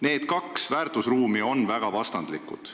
Need kaks väärtusruumi on väga vastandlikud.